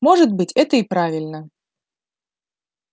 может быть это и правильно